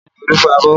Bẹẹ ni, Olu fọ abọ́